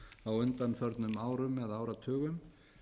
á undanförnum árum eða áratugum